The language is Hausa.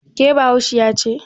ke Bahaushiya ce?